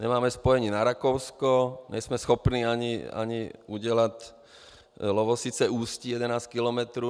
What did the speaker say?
Nemáme spojení na Rakousko, nejsme schopni ani udělat Lovosice-Ústí, 11 kilometrů.